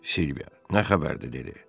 Silviya: Nə xəbərdir dedi.